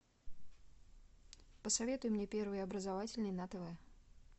посоветуй мне первый образовательный на тв